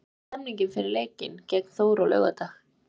Hvernig er stemningin fyrir leikinn gegn Þór á laugardag?